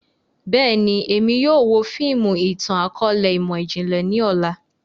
Bẹ́ẹ̀ni, Emi yóò wo fiimu itan-akọọlẹ imọ-jinlẹ ni ọla.